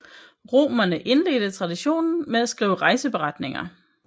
Romerne indledte traditionen med at skrive rejseberetninger